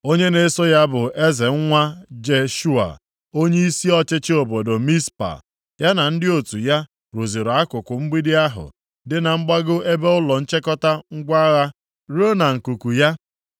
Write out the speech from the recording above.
Onye na-eso ya bụ Eza nwa Jeshua onyeisi ọchịchị obodo Mizpa. Ya na ndị otu ya rụziri akụkụ mgbidi ahụ dị na mgbago ebe ụlọ nchịkọta ngwa agha ruo na nkuku ya.